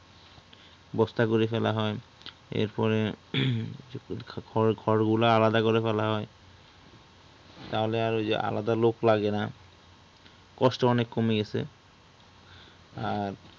বস্তা করে ফেলা হয় এরপরে হম খড় গুলো আলাদা করে ফেলা হয় তাহলে ওই যে আলাদা আর লোক লাগে না কষ্ট অনেক কমে গেছে আর